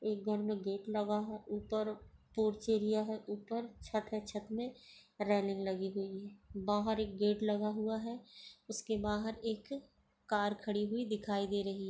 एक घर मे गेट लगा है ऊपर पोर्च एरिया है ऊपर छत है छत मे रेलिंग लगी हुई है बाहर एक गेट लगा हुआ है उसके बाहर एक कार खड़ी हुई दिखाई दे रही--